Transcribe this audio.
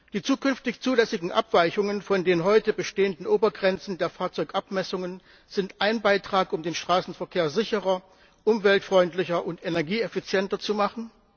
Die zukünftig zulässigen Abweichungen von den heute bestehenden Obergrenzen der Fahrzeugabmessungen sind ein Beitrag, um den Straßenverkehr sicherer, umweltfreundlicher und energieeffizienter zu machen.